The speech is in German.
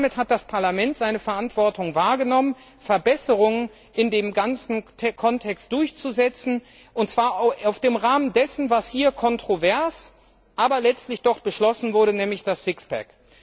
Damit hat das Parlament seine Verantwortung wahrgenommen, Verbesserungen in dem ganzen Kontext durchzusetzen, und zwar im Rahmen dessen, was hier kontrovers, aber letztlich doch beschlossen wurde, nämlich das Sixpack.